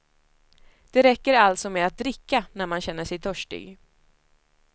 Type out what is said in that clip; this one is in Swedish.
Det räcker alltså med att dricka när man känner sig törstig.